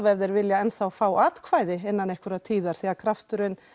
allavega ef þeir vilja enn fá atkvæði innan einhverjar tíðar því krafturinn